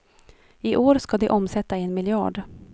I år ska de omsätta en miljard.